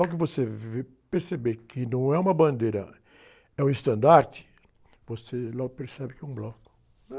Logo que você ver, perceber que não é uma bandeira, é um estandarte, você logo percebe que é um bloco.